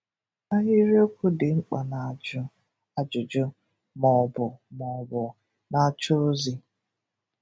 Ahịrịokwu dị mkpa na-ajụ ajụjụ ma ọ bụ ma ọ bụ na-achọ ozi.